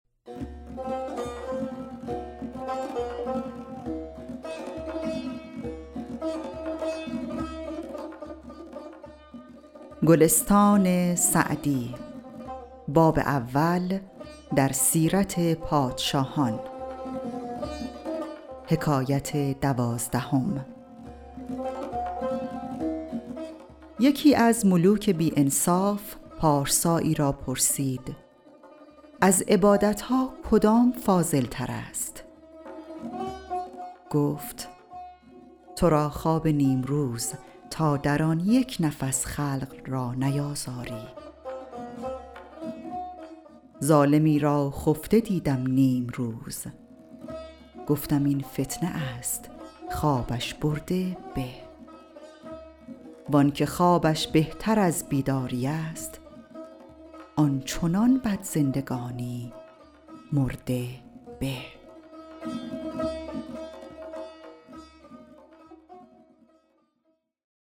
یکی از ملوک بی انصاف پارسایی را پرسید از عبادت ها کدام فاضل تر است گفت تو را خواب نیمروز تا در آن یک نفس خلق را نیازاری ظالمی را خفته دیدم نیمروز گفتم این فتنه است خوابش برده به وآنکه خوابش بهتر از بیداری است آن چنان بد زندگانی مرده به